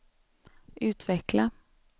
utveckla